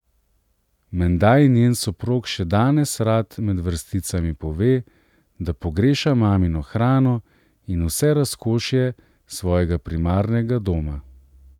Menda ji njen soprog še danes rad med vrsticami pove, da pogreša mamino hrano in vse razkošje svojega primarnega doma.